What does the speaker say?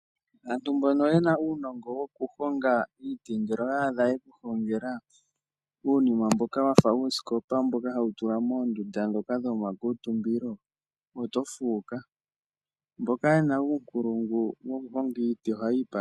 Aantu mbono yena uunongo wokuhonga iiti, ngele owa adha yekuhongela uunima mboka wafa uusikopa, mboka hawu tulwa moondunda dho ka dho makuutumbilo, oto fuuka. Mboka ye na uunkulungu wo ku honga iiti, oha yiipandula.